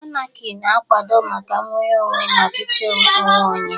Anarki na-akwado maka nnwere onwe na ọchịchị onwe onye.